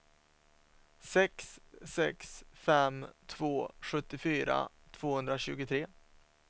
sex sex fem två sjuttiofyra tvåhundratjugotre